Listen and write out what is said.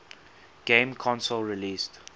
game console released